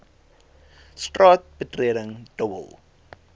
straat betreding dobbel